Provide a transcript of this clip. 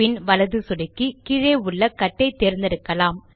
பின் வலது சொடுக்கி கீழே உள்ள கட் ஐ தேர்ந்தெடுக்கலாம்